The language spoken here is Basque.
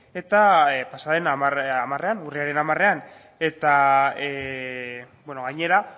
eta pasaden hamarean urriaren hamarean eta gainera